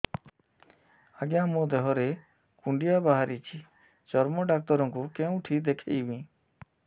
ଆଜ୍ଞା ମୋ ଦେହ ରେ କୁଣ୍ଡିଆ ବାହାରିଛି ଚର୍ମ ଡାକ୍ତର ଙ୍କୁ କେଉଁଠି ଦେଖେଇମି